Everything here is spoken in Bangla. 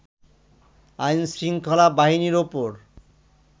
আইনশৃঙ্খলা বাহিনীর ওপর